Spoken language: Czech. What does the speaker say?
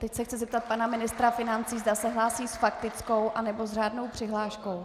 Teď se chci zeptat pana ministra financí, zda se hlásí s faktickou, anebo s řádnou přihláškou.